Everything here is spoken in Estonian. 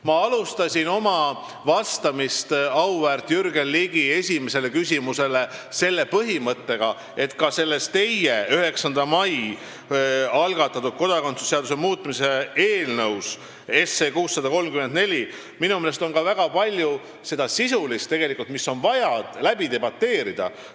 " Ma alustasin vastamist auväärt Jürgen Ligi esimesele küsimusele sellega, et ka selles teie 9. mail algatatud kodakondsuse seaduse muutmise seaduse eelnõus 634 on minu meelest väga palju seda sisu, mis on vaja läbi debateerida.